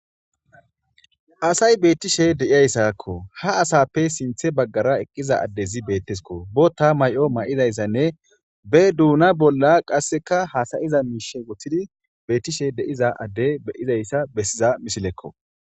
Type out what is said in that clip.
Asay beettishe de'iyayssakko ha asappe sinthe baggara eqqiza addezi beettesko bota may'o may'idayssanne be duuna bolla qasseka haasayiza miishe woththidi beettishe deiza adde beyizayssa bessiza misilekko.